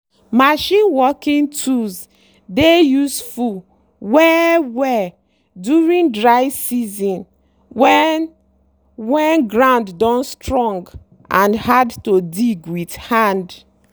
machine working tools dey useful well-well during dry season when when ground don strong and hard to dig with hand.